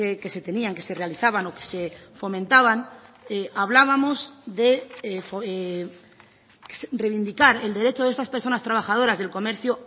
que se tenían que se realizaban o que se fomentaban hablábamos de reivindicar el derecho de estas personas trabajadoras del comercio